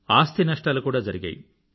ఆస్తి నష్టాలు కూడా జరిగాయి